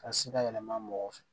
Ka se ka yɛlɛma mɔgɔw fɛ